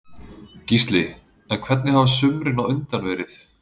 Gísli: En hvernig hafa sumrin á undan verið?